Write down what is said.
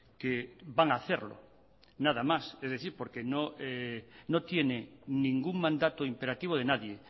que van a hacerlo nada más es decir porque no tiene ningún mandato imperativo de nadie